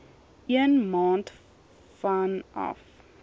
een maand vanaf